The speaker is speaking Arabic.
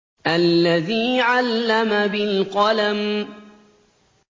الَّذِي عَلَّمَ بِالْقَلَمِ